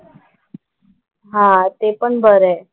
हां ते पण बरं आहे.